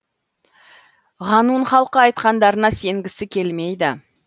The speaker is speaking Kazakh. ғанун халқы айтқандарына сенгісі келмейді